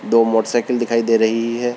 दो motorcycle दिखाई दे रही है।